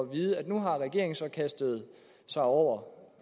vide nu har regeringen så kastet sig over